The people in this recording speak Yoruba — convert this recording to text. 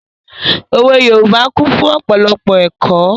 Òwe Yorùbá kún fún ọ̀pọ̀lọpọ̀ ẹ̀kọ́.